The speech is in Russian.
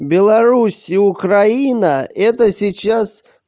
беларусь и украина это сейчас